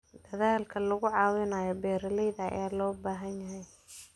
Dadaalka lagu caawinayo beeralayda ayaa loo baahan yahay.